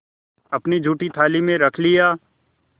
अपनी जूठी थाली में रख लिया